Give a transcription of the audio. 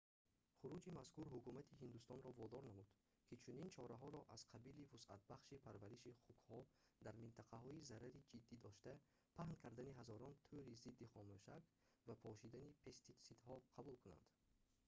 хуруҷи мазкур ҳукумати ҳиндустонро водор намуд ки чунин чораҳоро аз қабили вусъатбахшии парвариши хукҳо дар минтақаҳои зарари ҷиддӣ дошта паҳн кардани ҳазорон тӯри зидди хомӯшак ва пошидани пеститсидҳо қабул кунад